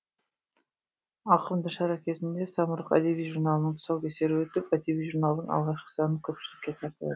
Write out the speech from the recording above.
ауқымды шара кезінде самұрық әдеби журналының тұсаукесері өтіп әдеби журналдың алғашқы санын көпшілікке тарту